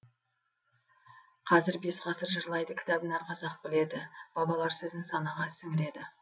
қазір бес ғасыр жырлайды кітабын әр қазақ біледі бабалар сөзін санаға сіңіреді